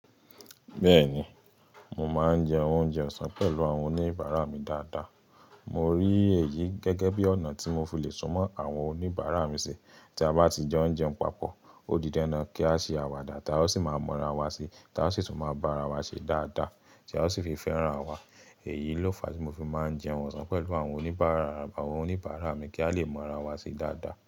Bẹ́ẹ̀ni, mo máa ń jẹ oúnjẹ ọ̀sán pẹ̀lú àwọn oníbàárà mi dáadáa. Mo rí èyí gẹ́gẹ́ bí ọ̀nà tí mo fi lè súnmọ́ àwọn oníbàárà mi sí. Tí a bá ti jo n jẹun papọ̀, ó di dandan kí a ṣe àwàdà, tá o sì máa mọ́ra wa si, ta o sì tún máa bá ara wa ṣe dáadáa, táa sì fi fẹ́ràn wa. Èyí ló fa tí mo fi máa ń jẹun ọ̀sán pẹ̀lú àwọn oníbàárà mi kí a lè mọ́ra wa sí dáadáa.